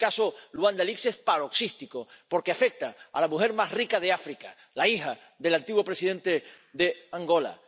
El caso Luanda Leaks es paroxístico porque afecta a la mujer más rica de África —la hija del antiguo presidente de Angola—.